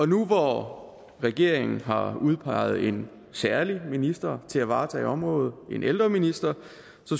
nu hvor regeringen har udpeget en særlig minister til at varetage området en ældreminister